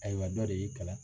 Ayiwa dɔ de y'i kalan